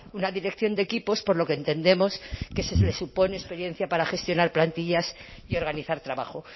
una dirección de equipos por lo que entendemos que se le supone experiencia para gestionar plantillas y organizar trabajo